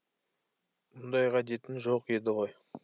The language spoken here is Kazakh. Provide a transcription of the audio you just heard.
мұндай ғадетің жоқ еді ғой